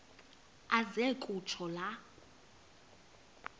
aze kutsho la